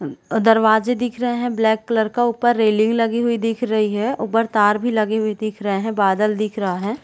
उ दरवाज़े दिख रहे है ब्लैक कलर का ऊपर रैलिंग लगी हुई दिख रही है ऊपर तार भी लगे हुए दिख रहे है बादल दिख रहा हैं।